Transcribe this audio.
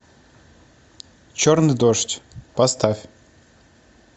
черный дождь поставь